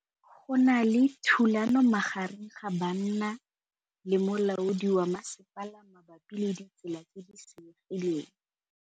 Go na le thulanô magareng ga banna le molaodi wa masepala mabapi le ditsela tse di senyegileng.